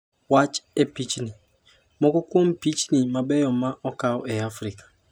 Wach e pichni: Moko kuom pichni mabeyo ma okaw e Afrika